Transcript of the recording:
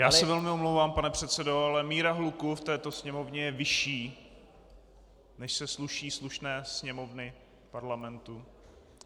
Já se velmi omlouvám, pane předsedo, ale míra hluku v této Sněmovně je vyšší, než se sluší slušné Sněmovny Parlamentu.